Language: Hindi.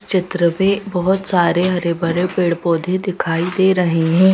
चित्र पे बहुत सारे हरे भरे पेड़ पौधे दिखाई दे रहे हैं।